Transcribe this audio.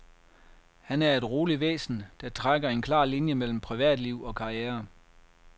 Han er et roligt væsen, der trækker en klar linje mellem privatliv og karriere.